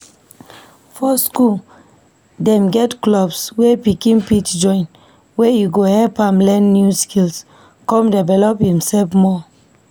For school, Dem get clubs wey pikin fit join wey go help am learn new skills, come develop imself more